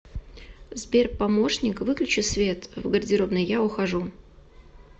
сбер помощник выключи свет в гардеробной я ухожу